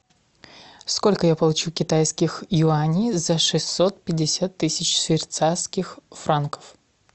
сколько я получу китайских юаней за шестьсот пятьдесят тысяч швейцарских франков